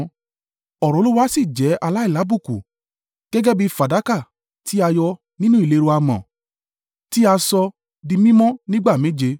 Ọ̀rọ̀ Olúwa sì jẹ aláìlábùkù, gẹ́gẹ́ bí fàdákà tí a yọ́ nínú ìléru amọ̀, tí a sọ di mímọ́ nígbà méje.